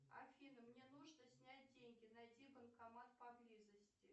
афина мне нужно снять деньги найди банкомат поблизости